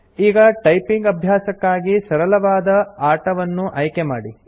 ಈಗ ಟೈಪಿಂಗ್ ಅಭ್ಯಾಸಕ್ಕಾಗಿ ಸರಳವಾದ ಆಟವನ್ನು ಆಯ್ಕೆ ಮಾಡಿ